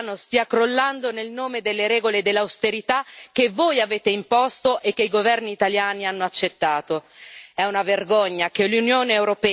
È una vergogna che il sistema bancario italiano stia crollando nel nome delle regole dell'austerità che voi avete imposto e che i governi italiani hanno accettato.